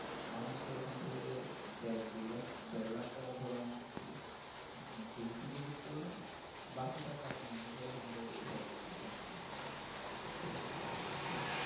আমার মতের ঐখান থেকে দেড় দুই লাখ দেড়লাখ টাকা ধরেন আপনি fix deposited করলেন বাকি টাকা mutual fund এ আপনি SIP এর মাধ্যমে বিনিয়োগ করলেন তাহলে সবচাইতে ভালো হবে